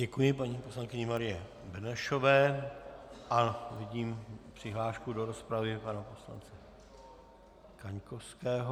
Děkuji paní poslankyni Marii Benešové a vidím přihlášku do rozpravy pana poslance Kaňkovského.